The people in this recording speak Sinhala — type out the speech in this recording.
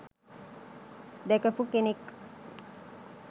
දැකපු කෙනෙක්..